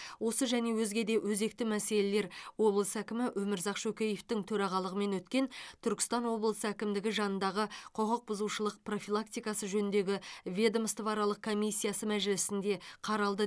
осы және өзге де өзекті мәселелер облыс әкімі өмірзақ шөкеевтің төрағалығымен өткен түркістан облысы әкімдігі жанындағы құқық бұзушылық профилактикасы жөніндегі ведомствоаралық комиссиясы мәжілісінде қаралды